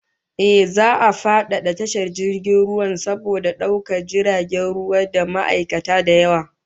Ehh, za'a kara fadada tashar jirgin ruwan, saboda daukar jiragen ruwa da ma'aikata da yawa